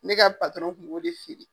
Ne ka kun b'o de feere.